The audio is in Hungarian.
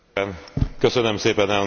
Köszönöm szépen, Elnök úr!